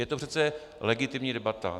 Je to přece legitimní debata.